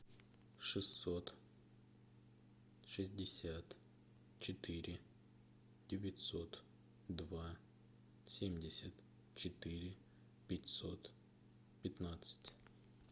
шестьсот шестьдесят четыре девятьсот два семьдесят четыре пятьсот пятнадцать